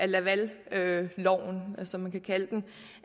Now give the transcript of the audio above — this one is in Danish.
lavalforslaget